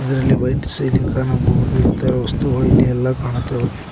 ಇದರಲ್ಲಿ white ceiling ಕಾಣಬಹುದು ಇತರ ವಸ್ತುಗಳು ಇಲ್ಲಿ ಎಲ್ಲಾ ಕಾಣುತ್ತಾವೆ.